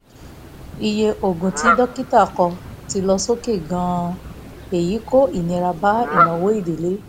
iye oògùn tí dókítà kọ ti lọ sókè gan-an èyí ń kó ìnira bá ìnáwó ìdílé